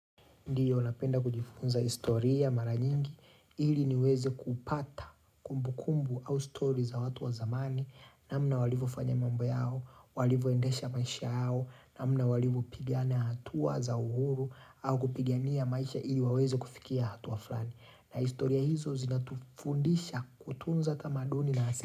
Ndio, napenda kujifunza historia mara nyingi, ili niweze kupata kumbu kumbu, au story za watu wa zamani, namna walivofanya mambo yao, walivoendesha maisha yao, namna walivopigana hatua za uhuru, au kupigania maisha ili waweze kufikia hatuwa flani. Na historia hizo zinatufundisha kutunza tamaduni na asili.